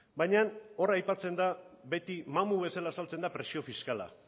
baina hor aipatzen da beti mamu bezala agertzen da presio fiskala